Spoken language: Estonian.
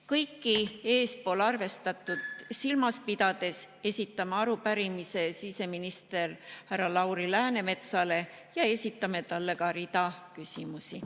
Kõike eespool arvestatut silmas pidades esitame arupärimise siseminister härra Lauri Läänemetsale ja esitame talle ka rea küsimusi.